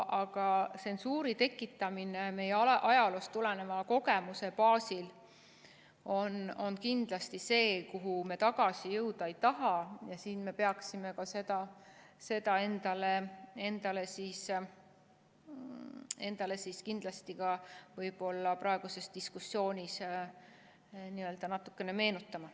Aga tsensuuri tekitamine meie ajaloost tuleneva kogemuse baasil on kindlasti see, kuhu me tagasi jõuda ei taha ja siin me peaksime seda endale ka praeguses diskussioonis natukene meenutama.